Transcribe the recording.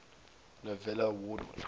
novello award winners